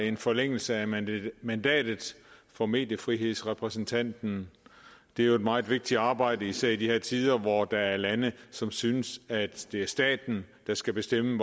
en forlængelse af mandatet mandatet for mediefrihedsrepræsentanten det er jo et meget vigtigt arbejde især i de her tider hvor der er lande som synes at det er staten der skal bestemme